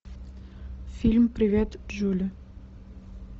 фильм привет джули